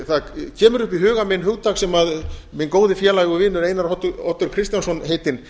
það kemur upp í huga minn hugtak sem minn góði félagi og vinur einar oddur kristjánsson heitinn